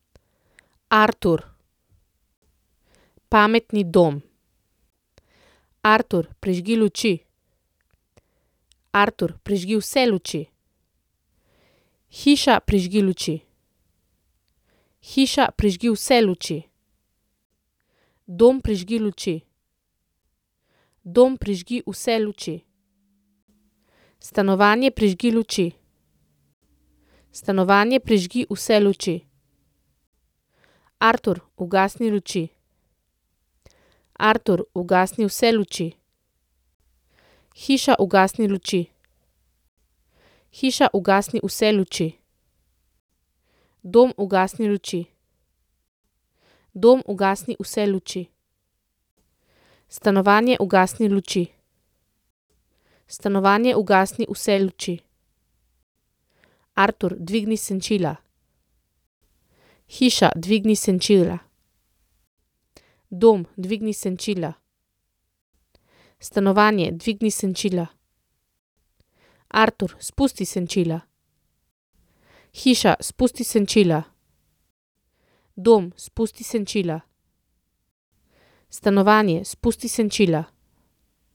Artur. Pametni dom. Artur, prižgi luči. Artur, prižgi vse luči. Hiša, prižgi luči. Hiša, prižgi vse luči. Dom, prižgi luči. Dom, prižgi vse luči. Stanovanje, prižgi luči. Stanovanje, prižgi vse luči. Artur, ugasni luči. Artur, ugasni vse luči. Hiša, ugasni luči. Hiša, ugasni vse luči. Dom, ugasni luči. Dom, ugasni vse luči. Stanovanje, ugasni luči. Stanovanje, ugasni vse luči. Artur, dvigni senčila. Hiša, dvigni senčila. Dom, dvigni senčila. Stanovanje, dvigni senčila. Artur, spusti senčila. Hiša, spusti senčila. Dom, spusti senčila. Stanovanje, spusti senčila.